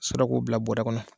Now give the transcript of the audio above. Sorɔ a k'o bila bɔrɔ kɔnɔ